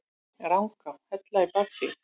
Rangá, Hella í baksýn.